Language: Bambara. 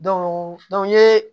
n ye